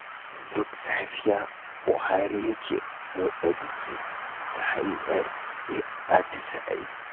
Duk safiya Buhari yake motsa jiki ta hanyar yin atisaye